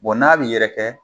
Bon n'a b'i yɛrɛ kɛ